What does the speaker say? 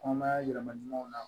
Kɔnɔmaya yɛlɛma ɲumanw na